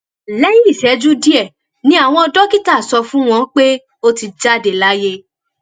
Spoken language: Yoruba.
lẹyìn ìṣẹjú díẹ ni àwọn dókítà sọ fún wọn pé ó ti jáde láyé